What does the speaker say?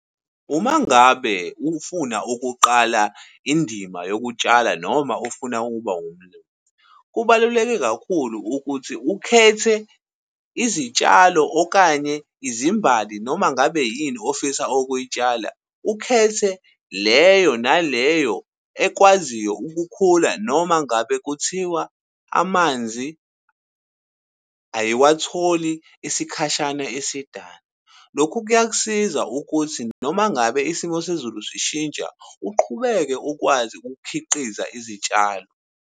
Uma ngabe ufuna ukuqala indima yokutshala, noma ufuna ukuba umlimi, kubaluleke kakhulu ukuthi ukhethe izitshalo okanye izimbali, noma ngabe yini ofisa ukuyitshala. Ukhethe leyo na leyo ekwaziyo ukukhula, noma ngabe kuthiwa amanzi ayiwatholi isikhashana esidana. Lokhu kuyakusiza ukuthi noma ngabe isimo sezulu sishintsha uqhubeke ukwazi ukukhiqiza izitshalo.